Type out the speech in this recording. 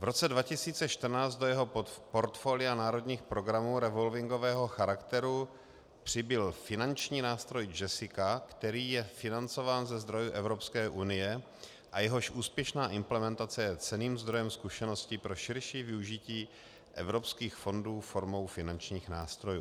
V roce 2014 do jeho portfolia národních programů revolvingového charakteru přibyl finanční nástroj JESSICA, který je financován ze zdrojů Evropské unie a jehož úspěšná implementace je cenným zdrojem zkušeností pro širší využití evropských fondů formou finančních nástrojů.